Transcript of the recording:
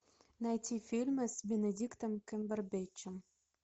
найти фильмы с бенедиктом камбербэтчем